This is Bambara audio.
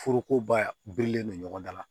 Foroko ba birilen don ɲɔgɔn da la